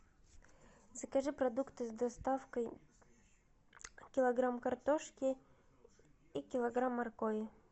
закажи продукты с доставкой килограмм картошки и килограмм моркови